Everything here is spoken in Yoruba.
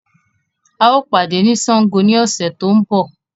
Ao pàdé ni Sángo ni ọ̀sẹ̀ tó ń bọ̀